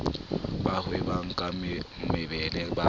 ba hwebang ka mebele ba